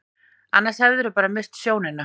Annars geturðu bara misst sjónina.